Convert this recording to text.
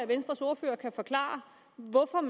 venstres ordfører kan forklare hvorfor